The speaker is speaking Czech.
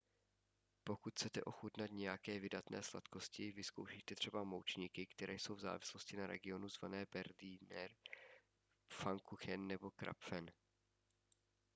pokud chcete ochutnat nějaké vydatné sladkosti vyzkoušejte třeba moučníky které jsou v závislosti na regionu zvané berliner pfannkuchen nebo krapfen